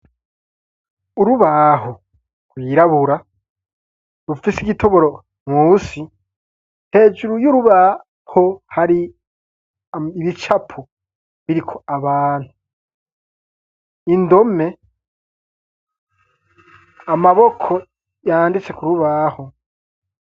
Urubaho rwirabura rufisi igitoboro munsi hejuru y'urubaho hari ibicapu biriko abantu, indome amaboko yanditse ku rubaho.